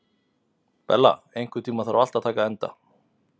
Bella, einhvern tímann þarf allt að taka enda.